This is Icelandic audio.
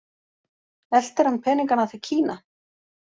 Eltir hann peninganna til Kína?